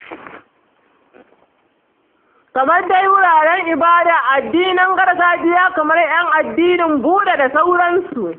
Kamar dai wuraren ibadar addinan gargajiya kamar 'yan addini Buda da sauransu.